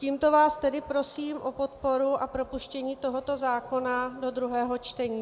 Tímto vás tedy prosím o podporu a propuštění tohoto zákona do druhého čtení.